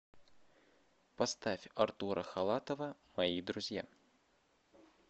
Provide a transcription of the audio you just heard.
поставь артура халатова мои друзья